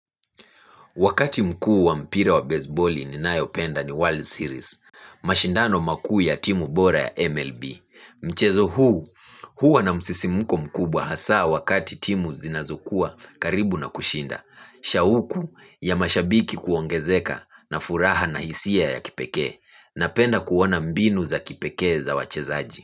Wakati mkuu wa mpira wa besiboli ninayopenda ni World Series, mashindano maku ya timu bora ya MLB. Mchezo huu, huwa na msisimuko mkubwa hasa wakati timu zinazukua karibu na kushinda. Shauku ya mashabiki kuongezeka na furaha na hisia ya kipeke, na penda kuona mbinu za kipeke za wachezaji.